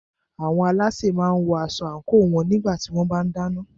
Àwọn alásè máà ń wọ aṣọ àńkò wọn nígbà tí wọ́n bá ń dáná.